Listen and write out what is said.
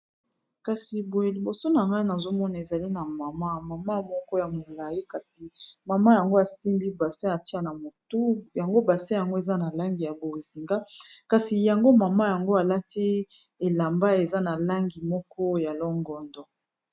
kasi boye liboso na gai nazomona ezali na mama mama moko ya molai kasi mama yango asimbi base atia na motu yango base yango eza na langi ya bozinga kasi yango mama yango alati elamba eza na langi moko ya longondo